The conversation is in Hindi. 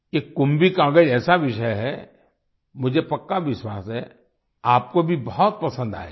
ये कुंभी कागज कुंभिकागज़ एक ऐसा विषय है मुझे पक्का विश्वास है आपको भी बहुत पसंद आएगा